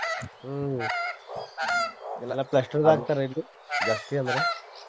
ಹ್ಮ್ ಎಲ್ಲಾ plaster ದ ಹಾಕ್ತಾರ ಎಲ್ರೂ ಜಾಸ್ತಿ ಅಂದ್ರ.